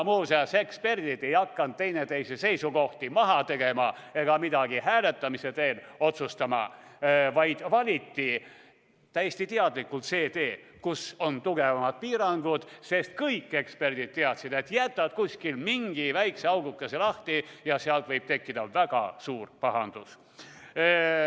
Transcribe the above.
Kuid eksperdid ei hakanud teineteise seisukohti maha tegema või midagi hääletamise teel otsustama, vaid valisid täiesti teadlikult selle tee, kus on tugevamad piirangud, sest kõik eksperdid teadsid, et kui jätta kuskil mingi väike auguke lahti, siis võib tekkida väga suur pahandus.